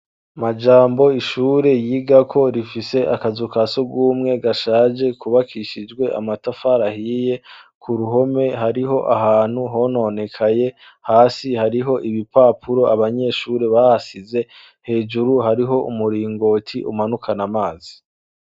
Majambo ishure yigako rifise akazu kasugumwe gashaje kubakishijwe amatafari ahiye ku ruhome hariho ahantu hononekaye hasi hariho ibipapuro abanyeshuri bahasize hejuru hariho umuringoti umanukana amazi.